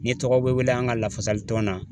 Ni tɔgɔ bɛ wele an ka lafasali tɔn na